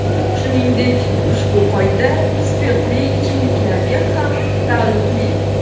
Shuningdek, ushbu qoida spirtli ichimliklarga ham taalluqli.